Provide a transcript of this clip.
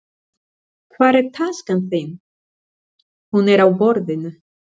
Hvar er taskan þín. Hún er á borðinu